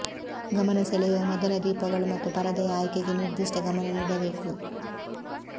ಗಮನ ಸೆಳೆಯುವ ಮೊದಲ ದೀಪಗಳು ಮತ್ತು ಪರದೆಯ ಆಯ್ಕೆಗೆ ನಿರ್ದಿಷ್ಟ ಗಮನ ನೀಡಬೇಕು